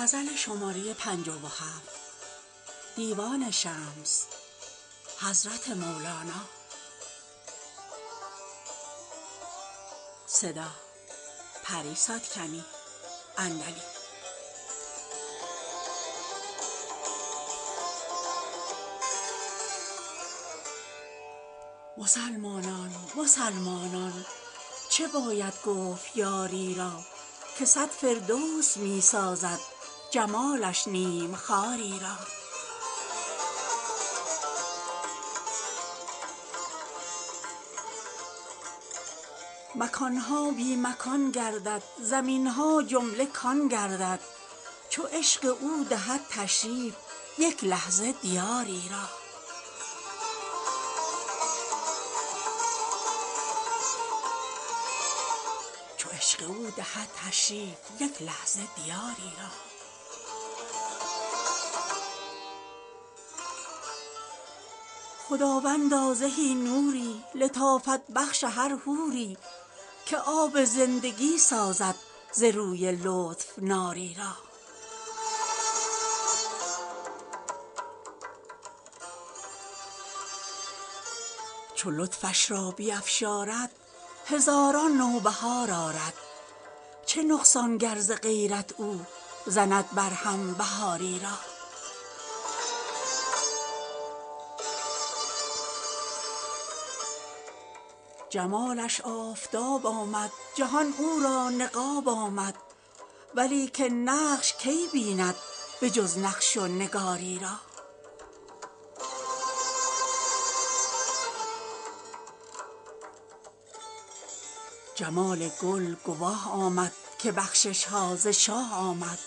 مسلمانان مسلمانان چه باید گفت یاری را که صد فردوس می سازد جمالش نیم خاری را مکان ها بی مکان گردد زمین ها جمله کان گردد چو عشق او دهد تشریف یک لحظه دیاری را خداوندا زهی نوری لطافت بخش هر حوری که آب زندگی سازد ز روی لطف ناری را چو لطفش را بیفشارد هزاران نوبهار آرد چه نقصان گر ز غیرت او زند برهم بهاری را جمالش آفتاب آمد جهان او را نقاب آمد ولیکن نقش کی بیند به جز نقش و نگاری را جمال گل گواه آمد که بخشش ها ز شاه آمد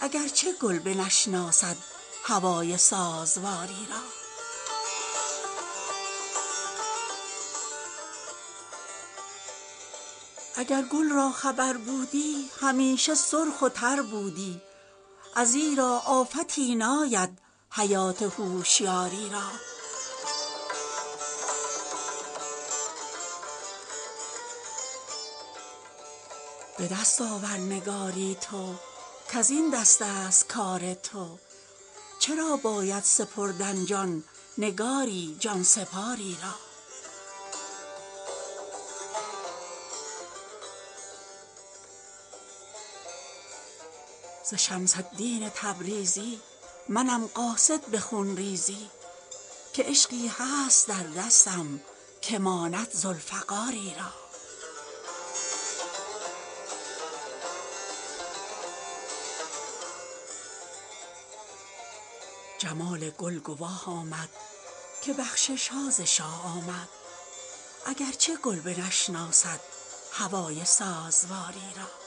اگر چه گل بنشناسد هوای سازواری را اگر گل را خبر بودی همیشه سرخ و تر بودی ازیرا آفتی ناید حیات هوشیاری را به دست آور نگاری تو کز این دستست کار تو چرا باید سپردن جان نگاری جان سپار ی را ز شمس الدین تبریزی منم قاصد به خون ریزی که عشقی هست در دستم که ماند ذوالفقاری را